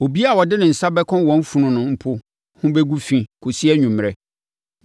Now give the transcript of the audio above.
“ ‘Obiara a ɔde nsa bɛka wɔn funu no mpo ho bɛgu fi kɔsi anwummerɛ